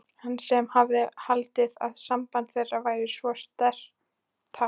Hann sem hafði haldið að samband þeirra væri svo sérstakt.